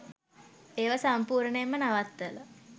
ඒව සම්පූර්ණයෙන්ම නවත්තල